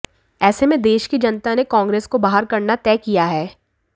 ऐसे में देश की जनता ने कांग्रेस को बाहर करना तय किया है